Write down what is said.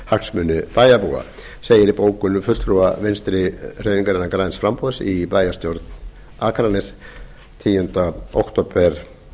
hagsmuni bæjarbúa segir í bókun fulltrúa vinstri hreyfingarinnar græns framboðs í bæjarstjórn akraness tíunda október